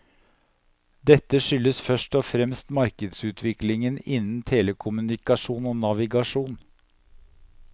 Dette skyldes først og fremst markedsutviklingen innen telekommunikasjon og navigasjon.